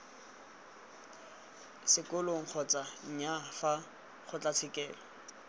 sekolong kgotsa nnyaa fa kgotlatshekelo